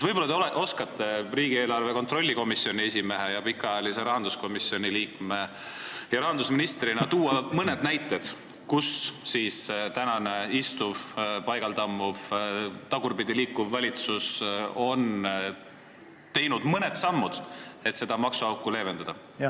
Võib-olla te oskate riigieelarve kontrolli erikomisjoni esimehe ning pikaajalise rahanduskomisjoni liikme ja rahandusministrina tuua mõne näite, kus tänane istuv, paigal tammuv, tagurpidi liikuv valitsus on teinud mõned sammud, et seda maksuauku leevendada.